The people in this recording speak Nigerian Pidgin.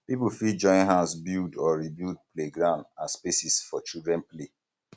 pipo fit join hands build or rebuild playground and spaces for children play